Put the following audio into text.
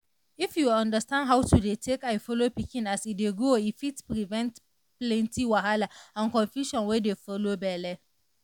if you understand how to dey take eye follow pikin as e dey grow e fit prevent plenty wahala and confusion wey dey follow belle.